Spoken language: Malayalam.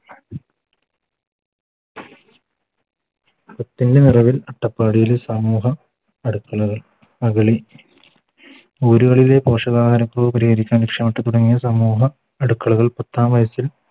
പത്തിൻറെ മറവിൽ അട്ടപ്പാടിയിലെ സമൂഹ അടുക്കളകൾ മുകളിൽ ലെ പോഷകാഹാര കുറവ് പരിഹരിക്കാൻ സമൂഹ അടുക്കളകൾ പത്താം വയസ്സിൽ